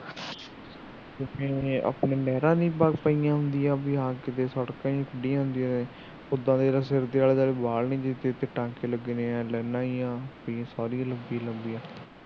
ਕਿਸੇ ਨੂੰ ਨਹੀ ਆਪਣੇ ਮਿਹਰਾਂ ਨਹੀ ਬਲ ਪਈਆ ਹੁੰਦੀਆ ਹਾਂ ਕਿਤੇ ਸੁਟ ਕੇ ਖੁਲ੍ਹੀਆ ਹੁੰਦੀਆ ਐ ਉਹਦਾ ਇਹਦੇ ਸਿਰ ਦੇ ਆਲੇ ਦੁਆਲੇ ਬਾਲ ਨੇ ਟਾਕੇ ਲਗੇ ਨੇ ਐ ਲਾਇਨਾ ਜਿਹੀਆ ਸਾਰੀ ਇੰਨੀ ਲੰਬੀਆ ਲੰਬੀਆ